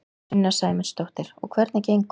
Sunna Sæmundsdóttir: Og hvernig gengur?